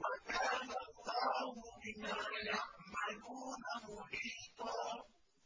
وَكَانَ اللَّهُ بِمَا يَعْمَلُونَ مُحِيطًا